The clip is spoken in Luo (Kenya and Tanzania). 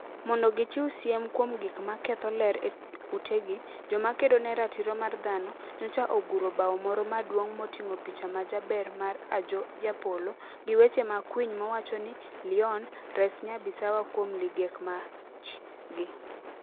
Mondo gichiw siem kuom gik ma ketho ler e utegi, joma kedo ne ratiro mar dhano, nyocha oguro bao moro maduong ' moting'o picha ma jaber mar Ajoh Japolo, gi weche makwiny mawacho ni: "Leon, res Nyabisawa kuom ligek mach! â€" gi